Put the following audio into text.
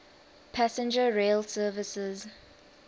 passenger rail services